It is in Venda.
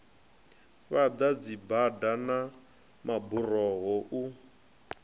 fhaḓa dzibada na maburoho u